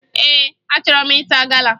Ee, achọrọ m ịta gala